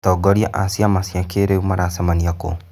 Atongoria a ciama cia kĩrĩu maracemania kũ?